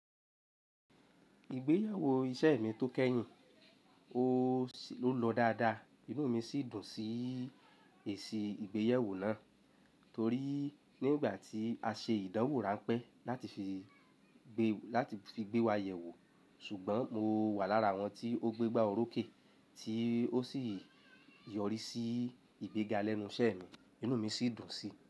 Ìgbéyewó isẹ mi tó kẹ́yìn, ó lọ dáadáa, inú mi sì dùn sí èsì ìgbéyewó náà torí nígbà tí a ṣe ìdánwò ránpẹ́ láti fi gbé wa yẹ̀wò, ṣùgbọ́n mo wà lára àwọn tí ó gbé gbá orókè tí ó sì yọrí sí ìgbéga lẹ́nu isẹ mi, inú mi sì dùn sí.